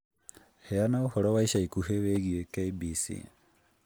Heana ũhoro wa ica ikuhĩ wĩgiĩ k.b.c